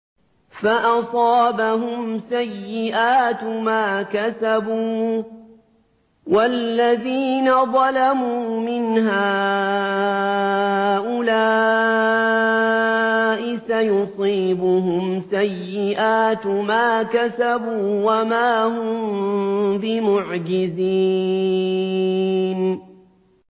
فَأَصَابَهُمْ سَيِّئَاتُ مَا كَسَبُوا ۚ وَالَّذِينَ ظَلَمُوا مِنْ هَٰؤُلَاءِ سَيُصِيبُهُمْ سَيِّئَاتُ مَا كَسَبُوا وَمَا هُم بِمُعْجِزِينَ